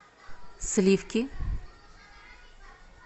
сливки